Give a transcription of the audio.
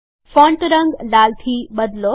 font રંગ લાલ થી બદલો